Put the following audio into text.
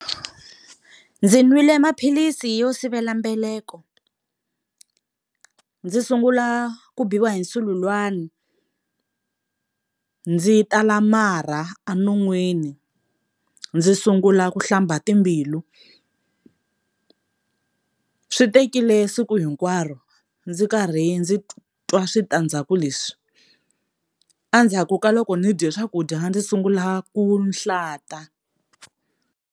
Ndzi nwile maphilisi yo sivela mbeleko, ndzi sungula ku biwa hi nsululwana ndzi tala marha enonwini ndzi sungula ku hlamba timbilu swi tekile siku hinkwaro ndzi karhi ndzi twa switandzhaku leswi endzhaku ka loko ndzi dye swakudya ndzi sungula ku hlata.